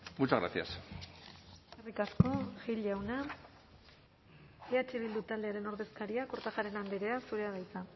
muchas gracias eskerrik asko gil jauna eh bildu taldearen ordezkaria kortajarena andrea zurea da hitza